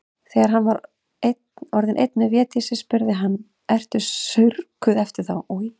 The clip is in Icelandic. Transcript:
Þegar hann var orðinn einn með Védísi spurði hann:-Ertu saurguð eftir þá.